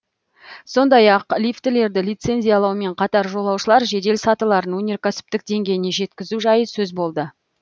сондай ақ лифтілерді лицензиялаумен қатар жолаушылар жедел сатыларын өнеркәсіптік деңгейіне жеткізу жайы сөз болды